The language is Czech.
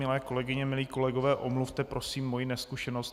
Milé kolegyně, milí kolegové, omluvte prosím moji nezkušenost.